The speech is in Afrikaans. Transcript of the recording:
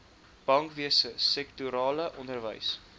bankwese sektorale onderwys